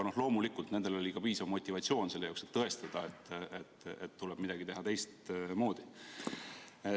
Loomulikult, nendel oli piisav motivatsioon selle jaoks, et tõestada, et midagi tuleb teha teistmoodi.